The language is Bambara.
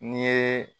N'i ye